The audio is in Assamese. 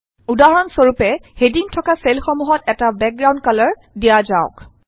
উদাহৰণ স্বৰূপে হেডিং থকা চেলসমূহত এটা বেকগ্ৰাউণ্ড কালাৰ দিয়া যাওক